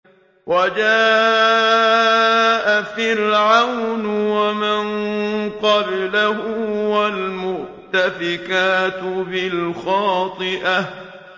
وَجَاءَ فِرْعَوْنُ وَمَن قَبْلَهُ وَالْمُؤْتَفِكَاتُ بِالْخَاطِئَةِ